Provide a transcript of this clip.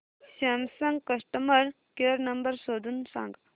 Samsung customer care number शोधून सांग